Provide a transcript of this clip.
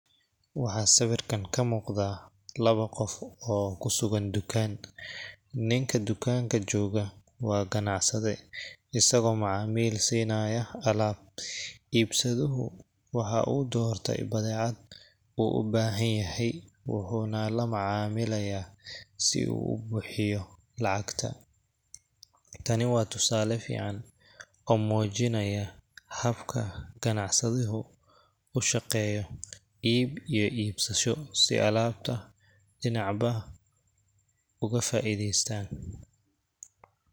Waxaa sawiirkaan ka muuqda labo qof oo kusugan dukaan, ninka dukaanka jooga waa ganacsade, asaga oo macamil siinaya alaab, iibsadahu waxaa uu doorte badeecad uu ubahan yahay, wuxuuna la macaamilaya si uu ubuxiyo lacagta, tani waa tusaale fican oo mujinaaya habka ganacsadahu ushaqeeyo, iib iyo iibsasho si alaabta dinac walba uga faideestaan.